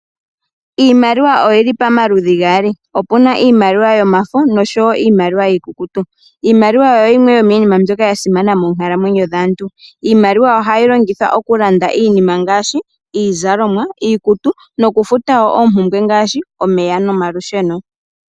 Iimaliwa oyili pamaludhi gaali, opuna iimaliwa yomafo noshowo iimaliwa iikukutu. Iimaliwa oyo yimwe yomiinima mbyoka ya simana moonkalamwenyo dhaantu. Iimaliwa ohayi longithwa okulanda iinima ngaashi iizalomwa, iikutu nokufuta woo oompumbwe ngaashi omeya nomalusheno.